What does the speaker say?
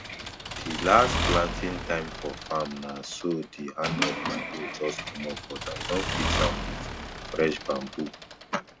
di last planting time for farm na so di hand of my hoe jus comot but i don fix am wit fresh bambu